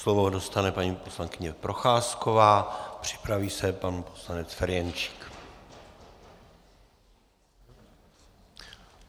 Slovo dostane paní poslankyně Procházková, připraví se pan poslanec Ferjenčík.